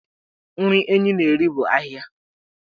Nri Enyi na-eri bụ ahịhịa.